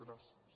gràcies